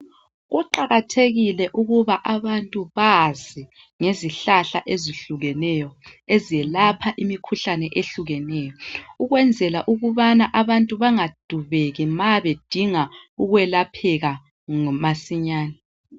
Kuqakathekile umuthi abantu bazinngezihlahla ezihlukeneyo ezelapha imikhuhlane ehlukeneyo ukuyenzela ukubana abantu bengadubeki mabedinga ukwelatshwa.